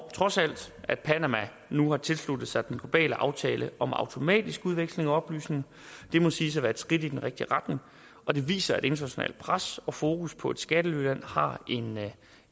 at panama nu har tilsluttet sig den globale aftale om automatisk udveksling af oplysninger det må siges at være et skridt i den rigtige retning og det viser at internationalt pres og fokus på et skattelyland har en